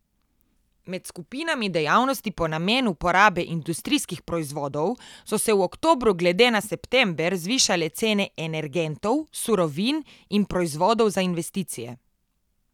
Med skupinami dejavnosti po namenu porabe industrijskih proizvodov so se v oktobru glede na september zvišale cene energentov, surovin in proizvodov za investicije.